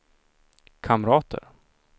kamrater